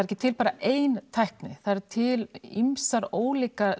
ekki til bara ein tækni það eru til ýmis ólík